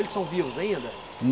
Eles são vivos ainda?